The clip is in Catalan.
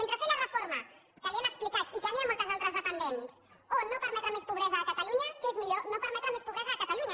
entre fer la reforma que li hem explicat i que n’hi ha moltes altres de pendents o no permetre més pobresa a catalunya què és millor no permetre més pobresa a catalunya